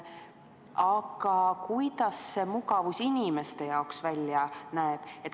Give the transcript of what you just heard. Aga kuidas mugavus inimeste jaoks välja näeb?